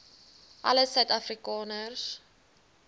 alle suid afrikaners